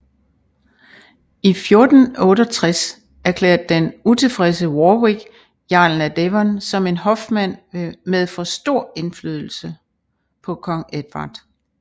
I 1468 erklærde den utilfredse Warwick jarlen af Devon som en hofmand med for stor indflydelse på kong Edvard